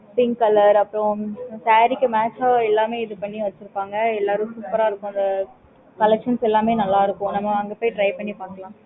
collection எல்லாமே நல்லா இருக்கும் நம்ப அந்த side try பண்ணிபாக்கலாம்